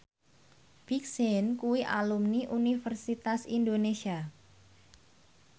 Big Sean kuwi alumni Universitas Indonesia